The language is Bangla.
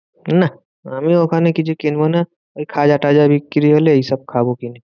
নাহ, আমি ওখানে কিছু কিনবো না। ওই খাজা তাজা বিক্রি হলে এইসব খাবো কিনে।